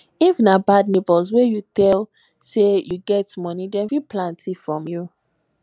if na bad neighbors wey you tell say you get money dem fit plan thief from you